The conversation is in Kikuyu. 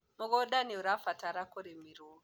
mũgũnda nĩũrabatara kũrĩmirwo